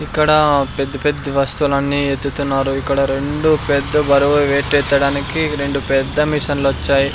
ఇక్కడ పెద్ద పెద్ద వస్తువులన్నీ ఎత్తుతున్నారు ఇక్కడ రెండు పెద్ద బరువు వెయిట్ ఎత్తడానికి రెండు పెద్ద మిషిన్ లొచ్చాయి.